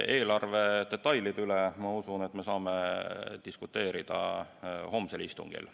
Eelarve detailide üle, ma usun, me saame diskuteerida homsel istungil.